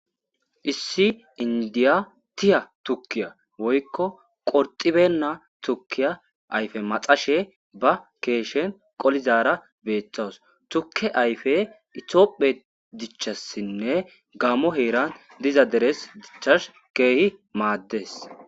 Issi indiya tiya tukiya woyiko qorxibena tukiya ayife maxashe ba keshen qolizara betawus tuke ayife ithophe dichasinne gamo hetan diza dere dichas kehi mades